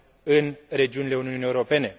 în regiunile Uniunii Europene.